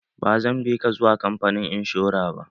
Ba zan bi ka zuwa kamfanin inshora ba.